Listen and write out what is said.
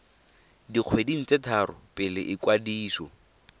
dikgweding tse tharo pele ikwadiso